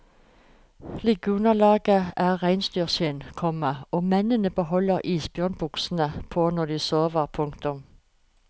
Liggeunderlaget er reinsdyrskinn, komma og mennene beholder isbjørnbuksene på når de sover. punktum